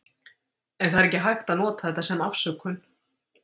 En það er ekki hægt að nota þetta sem afsökun.